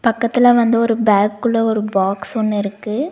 பக்கத்துல வந்து ஒரு பேக் குள்ள ஒரு பாக்ஸ் ஒன்னு இருக்கு.